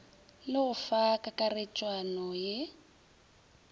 le go fa kakaretšwana ye